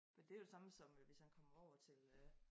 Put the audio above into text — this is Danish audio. Men det jo det samme som hvis han kom over til øh